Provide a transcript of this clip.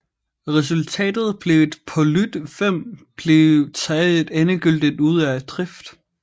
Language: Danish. Resultatet blev at Polyt V blev taget endegyldigt ud af drift